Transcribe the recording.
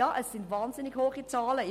Ja, es sind wahnsinnig hohe Zahlen.